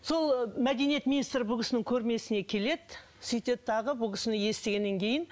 сол мәдениет министрі бұл кісінің көрмесіне келеді сөйтеді дағы бұл кісіні естігеннен кейін